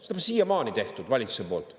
Seda pole siiamaani tehtud valitsuse poolt.